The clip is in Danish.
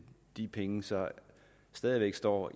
de penge så stadig væk står